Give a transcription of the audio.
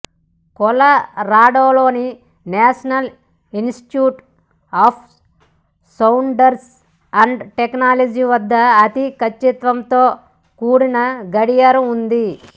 కొలరాడోలోని National Institute of Standards and Technology వద్ద అతి కచ్చితత్వంతో కూడిన గడియారం ఉంది